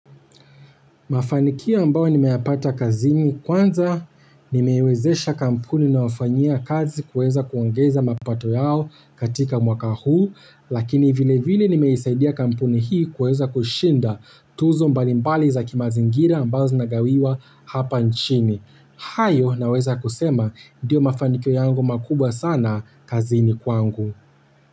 Mafanikio ambayo nimeyapata kazini kwanza, nimeiwezesha kampuni nawafanyia kazi kuweza kuongeza mapato yao katika mwaka huu, lakini vile vile nimeisaidia kampuni hii kuweza kushinda tuzo mbalimbali za kimazingira ambazo zinagawiwa hapa nchini. Hayo naweza kusema ndiyo mafanikio yangu makubwa sana kazini kwangu.